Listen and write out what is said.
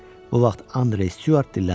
Bu vaxt Andrew Stuart dilləndi.